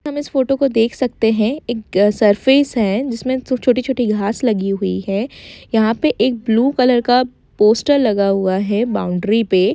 हम इस फोटो को देख सकते है एक सरफेस है जिसमे छोटी-छोटी घास लगी हुई है यहा पे एक ब्लू कलर का पोस्टर लगा हुआ है बाउड्री पे --